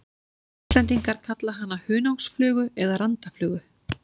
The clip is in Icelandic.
Íslendingar kalla hana hunangsflugu eða randaflugu.